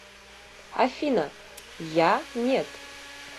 афина я нет